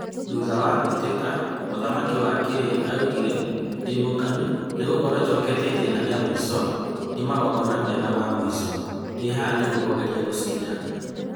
Thutha wa mbĩtĩka, mũthamaki wa Clay augire, "Ndĩmũkenu nĩgũkorwo njokete itĩna rĩa mũico rĩa magongona mega ma muico. Ndi haha nĩguo kũgeria gũcinda.